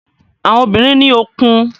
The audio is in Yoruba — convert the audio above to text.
Àwọn obìnrin ní òkun.